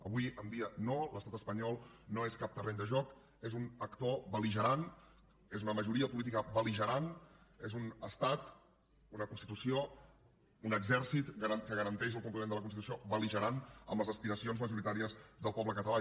avui en dia no l’estat espanyol no és cap terreny de joc és un actor bel·ligerant és una majoria política bel·un estat una constitució un exèrcit que garanteix el compliment de la constitució bel·ligerant amb les aspiracions majoritàries del poble català